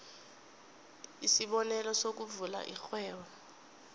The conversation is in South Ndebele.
isibonelo sokuvula irhwebo